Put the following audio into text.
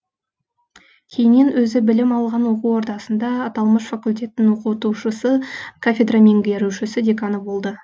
кейіннен өзі білім алған оқу ордасында аталмыш факультеттің оқытушысы кафедра меңгерушісі деканы болды